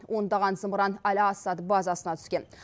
ондаған зымыран аль асад базасына түскен